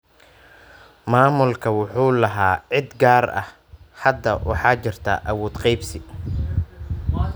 Maamulku wuxuu lahaa cid gaar ah. Hadda waxaa jirta awood qeybsi.